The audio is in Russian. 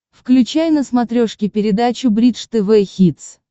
включай на смотрешке передачу бридж тв хитс